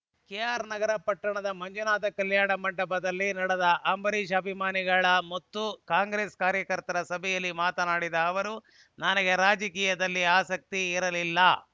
ಕೆಆರ್‌ನಗರ ಪಟ್ಟಣದ ಮಂಜುನಾಥ ಕಲ್ಯಾಣ ಮಂಟಪದಲ್ಲಿ ನಡೆದ ಅಂಬರೀಷ್‌ ಅಭಿಮಾನಿಗಳ ಮತ್ತು ಕಾಂಗ್ರೆಸ್‌ ಕಾರ್ಯಕರ್ತರ ಸಭೆಯಲ್ಲಿ ಮಾತನಾಡಿದ ಅವರು ನನಗೆ ರಾಜಕೀಯದಲ್ಲಿ ಆಸಕ್ತಿ ಇರಲಿಲ್ಲ